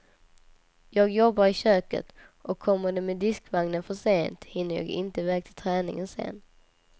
Jag jobbar i köket, och kommer de med diskvagnen för sent hinner jag inte iväg till träningen sen.